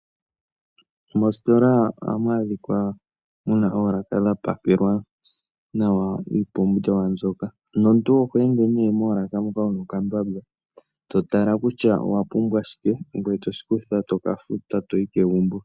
Mositola ohamu adhikwa muna oolaka dhapakelwa nawa iipumbiwa mbyoka, nomuntu oho ende ne moolaka moka wuna okambamba totala kutya owapumbwa shike, ngoye toshikutha tokafuta toyi kegumbo.